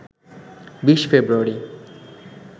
২০ ফেব্রুয়ারি